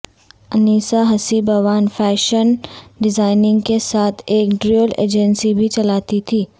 انیسہ ہسی بوان fashion designing کے ساتھ ایک ٹریول ایجنسی بھی چلاتی تھیں